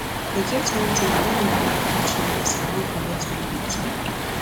e get wan time wen my wife catch me as i wan collect one bottle drink